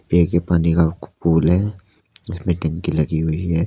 ये एक पानी का पूल है जिसमे टंकी लगी हुई है।